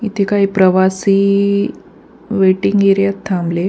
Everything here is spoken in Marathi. इथे काही प्रवासी वेटिंग एरियात थांबले --